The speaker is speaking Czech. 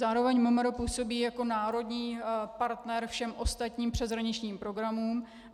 Zároveň MMR působí jako národní partner všem ostatním přeshraničním programům.